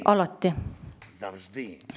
Alati!